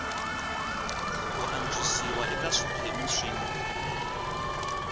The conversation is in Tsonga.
ku antswisiwa eka swiphemu swin